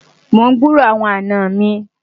mon gburó àwọn àná mí